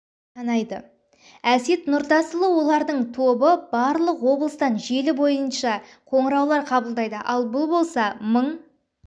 санайды әсет нұртасұлы олардың тобы барлық облыстан желісі бойынша қоңыраулар қабылдайды ал бұл болса мың